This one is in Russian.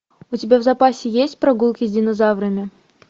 у тебя в запасе есть прогулки с динозаврами